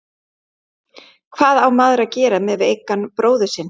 Hvað á maður að gera með veikan bróður sinn?